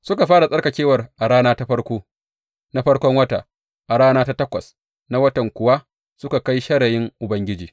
Suka fara tsarkakewar a rana ta farko na farkon wata, a rana ta takwas na watan kuwa suka kai shirayin Ubangiji.